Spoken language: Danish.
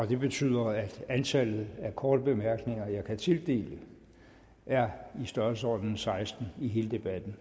det betyder at antallet af korte bemærkninger jeg kan tildele er i størrelsesordenen seksten i hele debatten